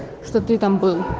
что ты там был